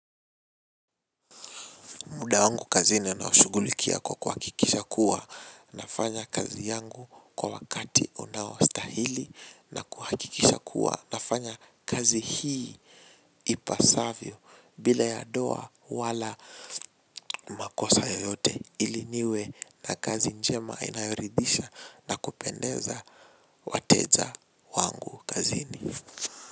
Muda wangu kazini naushugulikia kwa kuhakikisha kuwa nafanya kazi yangu kwa wakati unaostahili na kuhakikisha kuwa nafanya kazi hii ipasavyo bila ya doa wala makosa yoyote ili niwe na kazi njema inayoridhisha na kupendeza wateja wangu kazini.